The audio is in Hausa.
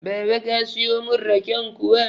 Baba ka siyo mun raken kuwa?